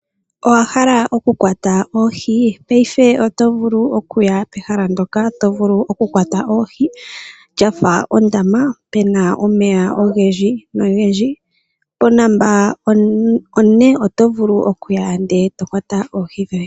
Owahala okukwata oohi, paife oto vulu okuya pehala ndoka tovulu okukwata oohi, lyafa ondama puna omeya ogendji, ponomola one, otovulu okuya e to kwata oohi dhoye.